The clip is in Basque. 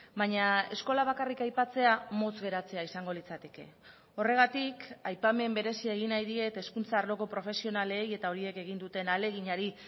baina eskola bakarrik aipatzea motz geratzea izango litzateke horregatik aipamen berezia egin nahi diet hezkuntza arloko profesionalei eta horiek egin duten ahaleginari